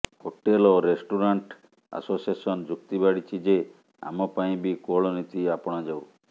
hotel ଓ restaurant association ଯୁକ୍ତି ବାଢ଼ିଛି ଯେ ଆମ ପାଇଁ ବି କୋହଳ ନୀତି ଆପଣାଯାଉ